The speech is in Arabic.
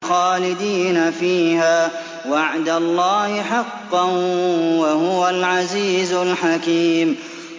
خَالِدِينَ فِيهَا ۖ وَعْدَ اللَّهِ حَقًّا ۚ وَهُوَ الْعَزِيزُ الْحَكِيمُ